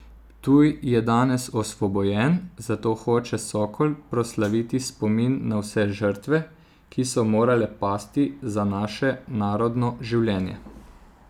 Ptuj je danes osvobojen, zato hoče Sokol proslaviti spomin na vse žrtve, ki so morale pasti za naše narodno življenje!